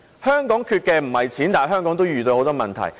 香港並非缺錢，但仍遇到很多問題。